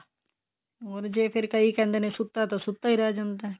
ਹੋਰ ਜੇ ਫੇਰ ਕਈ ਕਹਿੰਦੇ ਨੇ ਸੁੱਤਾ ਤਾਂ ਸੁੱਤਾ ਈ ਰਹਿ ਜਾਂਦਾ